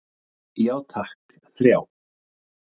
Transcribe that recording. Já takk, þrjá.